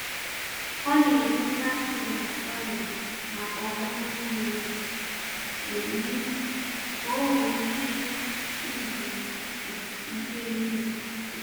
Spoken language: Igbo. Ọ na-edò Saturday na Sunday maka ọmụmụ miri emi ka o nwee ike izu ike n’izu.